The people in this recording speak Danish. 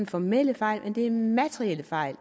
formelle fejl men det er materielle fejl